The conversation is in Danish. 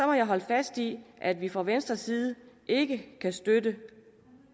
må jeg holde fast i at vi fra venstres side ikke kan støtte